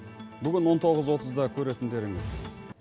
бүгін он тоғыз отызда көретіндеріңіз